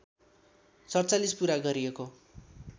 ४७ पुरा गरिएको